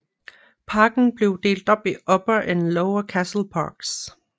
Parken blev delt op i Upper og Lower Castle Parks